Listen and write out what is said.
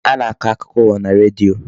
A na-akọ akụkọ ụwa na redio.